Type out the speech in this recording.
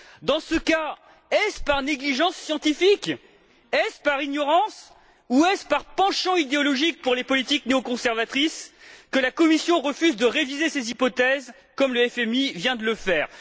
Dans ce cas, est ce par négligence scientifique, est ce par ignorance ou est ce par penchant idéologique pour les politiques néoconservatrices, que la Commission refuse de réviser ses hypothèses, comme le FMI vient de le faire?